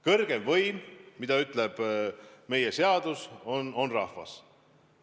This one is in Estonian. Kõrgeim võim, nagu ütleb meie seadus, on rahvas.